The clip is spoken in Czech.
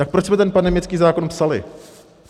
Tak proč jsme ten pandemický zákon psali?